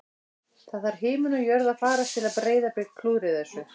Það þarf himinn og jörð að farast til að Breiðablik klúðri þessu